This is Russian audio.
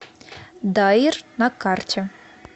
даир на карте